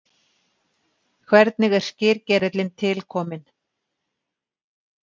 Hvernig er skyrgerillinn til kominn?